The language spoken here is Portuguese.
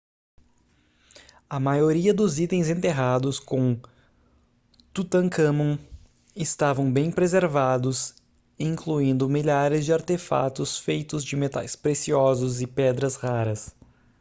a maioria dos itens enterrados com tutancâmon estavam bem preservados incluindo milhares de artefatos feitos de metais preciosos e pedras raras